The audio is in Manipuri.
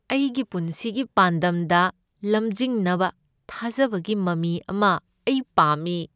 ꯑꯩꯒꯤ ꯄꯨꯟꯁꯤꯒꯤ ꯄꯥꯟꯗꯝꯗ ꯂꯝꯖꯤꯡꯅꯕ ꯊꯥꯖꯕꯒꯤ ꯃꯃꯤ ꯑꯃ ꯑꯩ ꯄꯥꯝꯃꯤ ꯫